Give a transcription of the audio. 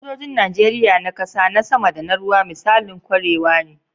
Sojojin Najeriya, na kasa, na sama, da na ruwa, misalan kwarewa ne.